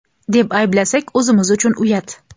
deb ayblasak o‘zimiz uchun uyat.